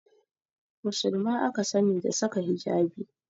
Musulma aka sani da saka hijabi